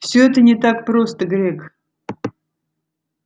всё это не так просто грег